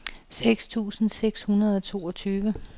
seks tusind seks hundrede og toogtyve